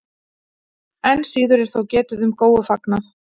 Enn síður er þó getið um Góufagnað.